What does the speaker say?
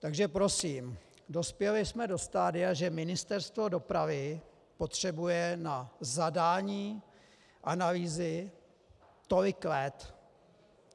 Takže prosím, dospěli jsme do stadia, že Ministerstvo dopravy potřebuje na zadání analýzy tolik let.